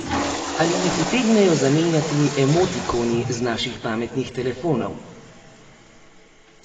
Ali jih utegnejo zamenjati emotikoni z naših pametnih telefonov?